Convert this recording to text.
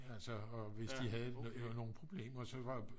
altså og hvis de havde nogle problemer så var